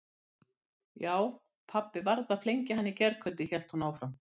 Já, pabbi varð að flengja hann í gærkvöldi hélt hún áfram.